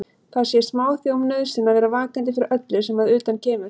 Það sé smáþjóðum nauðsyn að vera vakandi fyrir öllu sem að utan kemur.